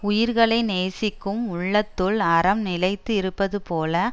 உயிர்களை நேசிக்கும் உள்ளத்துள் அறம் நிலைத்து இருப்பது போல